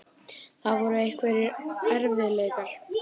Það voru einhverjir erfiðleikar.